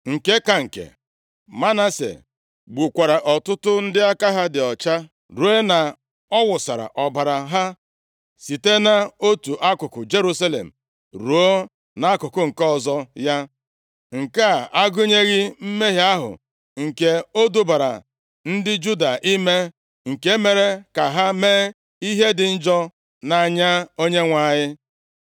Nke ka nke, Manase gbukwara ọtụtụ ndị aka ha dị ọcha, ruo na ọ wụsaara ọbara ha site nʼotu akụkụ Jerusalem ruo nʼakụkụ nke ọzọ ya, nke a agụnyeghị mmehie ahụ nke o dubara ndị Juda ime, nke mere ka ha mee ihe dị njọ nʼanya Onyenwe anyị.